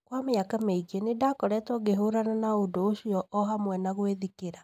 Kwa mĩaka mingĩ nĩ ndakoragwo ngĩhũrana na ũndũ ũcio o hamwe na gwĩthikĩra.